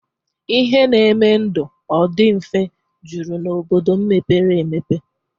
Ihe na-eme ndụ ọ dị mfe jụrụ n'obodo mepere emepe